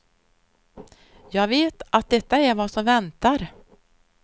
Jag vet att detta är vad som väntar.